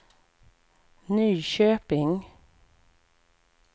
Nyköping